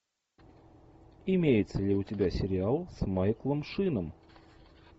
имеется ли у тебя сериал с майклом шином